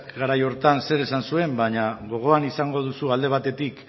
garai horretan shesak zer esan zuen baina gogoan izango duzu alde batetik